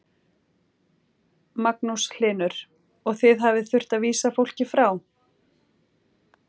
Magnús Hlynur: Og þið hafið þurft að vísa fólki frá?